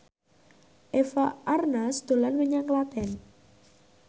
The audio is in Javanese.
Eva Arnaz dolan menyang Klaten